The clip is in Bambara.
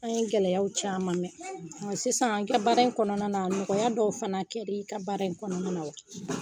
An ye gɛlɛyaw caman kɛ. Ɔn sisan i ka bara in kɔnɔna na nɔgɔya dɔw fana kɛra i ka bara in kɔnɔna na wa?